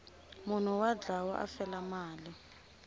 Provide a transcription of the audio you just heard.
munhu wa dlawa a fela mali